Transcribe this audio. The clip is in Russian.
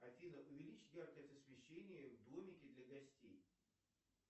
афина увеличь яркость освещения в домике для гостей